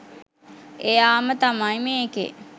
එයාම තමයි මේකෙ